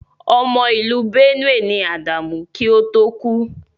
Ọmọ ìlú Benue ni Ádámù kí ó tó kú.